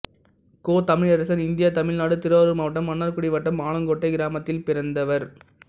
கோ Tamilarasan India Tamil Nadu Thiruvarur மாவட்டம் மன்னார்குடி வட்டம் ஆலங்கோட்டை கிராமத்தில் பிறந்தவர்